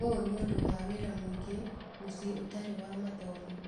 ũũ nĩ ũndũ wa wĩra mũingĩ mũciĩ ũtarĩ wa mathomo.